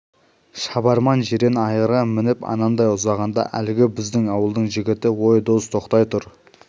шабарман жирен айғырға мініп анадай ұзағанда әлгі біздің ауылдың жігіті ой дос тоқтай тұр